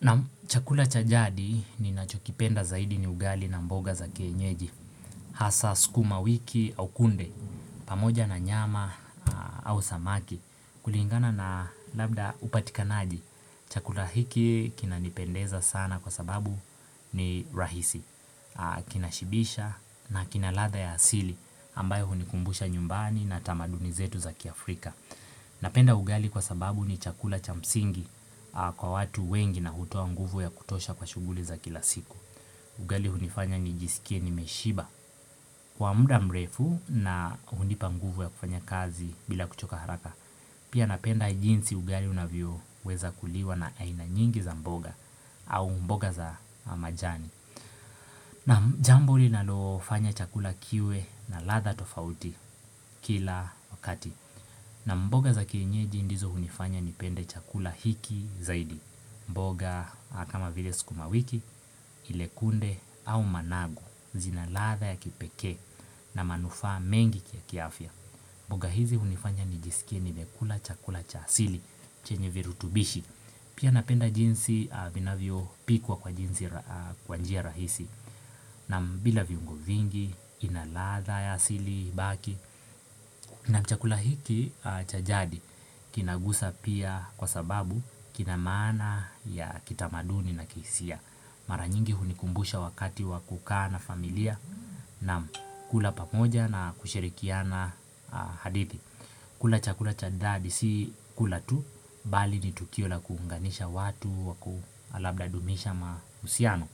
Nam chakula chajadi ni nachokipenda zaidi ni ugali na mboga za kienyeji, hasa skuma wiki au kunde, pamoja na nyama au samaki, kulingana na labda upatikanaji, chakula hiki kina nipendeza sana kwa sababu ni rahisi, kina shibisha na kina ladha ya asili ambayo hunikumbusha nyumbani na tamadunizetu za kiafrika. Napenda ugali kwa sababu ni chakula chamsingi kwa watu wengi na hutoa nguvu ya kutosha kwa shughuli za kila siku Ugali hunifanya nijiskie nimeshiba Kwa muda mrefu na hunipa nguvu ya kufanya kazi bila kuchoka haraka Pia napenda jinsi ugali unavyo weza kuliwa na ainanyingi za mboga au mboga za majani Nam jambo linalofanya chakula kiwe na ladha tofauti kila wakati na mboga za kienyeji ndizo hunifanya nipende chakula hiki zaidi mboga kama vile skuma wiki, ilekunde au managu, zinaladha ya kipekee na manufaa mengi kia kiafya mboga hizi hunifanya nijisikie nimekula chakula cha asili, chenye virutubishi Pia napenda jinsi vinavyo pikwa kwa jinsi kwanjia rahisi Nam bila viungo vingi, inaladha ya asili, baki Nam chakula hiki chajadi kinagusa pia kwa sababu kinamaana ya kitamaduni na kisia. Maranyingi hunikumbusha wakati wakukaa na familia nam kula pamoja na kushirikiana hadithi. Kula chakula chajadi si kula tu, bali ni tukio la kuunganisha watu wakualabda dumisha mahusiano.